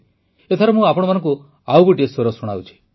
ଏଥର ମୁଁ ଆପଣମାନଙ୍କୁ ଆଉ ଗୋଟିଏ ସ୍ୱର ଶୁଣାଉଛି